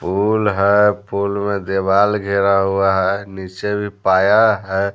फूल है फूल में दीवाल घिरा हुआ है नीचे भी पाया है।